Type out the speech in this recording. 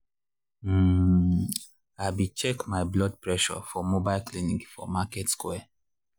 um i be check my blood presure for the mobile clinic for market square.